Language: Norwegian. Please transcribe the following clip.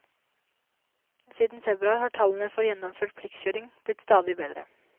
Siden februar har tallene for gjennomført pliktkjøring blitt stadig bedre.